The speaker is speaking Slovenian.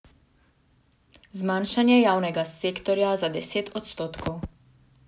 Zmanjšanje javnega sektorja za deset odstotkov.